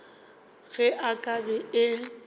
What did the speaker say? ge e ka be e